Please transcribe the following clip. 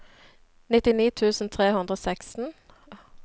nittini tusen tre hundre og seksten